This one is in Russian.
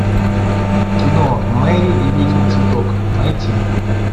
кино мэри и ведьмин цветок найти